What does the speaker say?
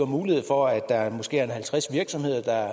mulighed for at der måske er halvtreds virksomheder der